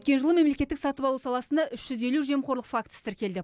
өткен жылы мемлекеттік сатып алу саласында үш жүз елу жемқорлық фактісі тіркелді